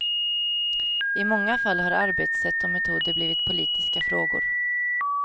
I många fall har arbetssätt och metoder blivit politiska frågor.